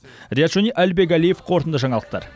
риат шони әлібек әлиев қорытынды жаңалықтар